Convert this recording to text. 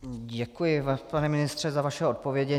Děkuji, pane ministře, za vaše odpovědi.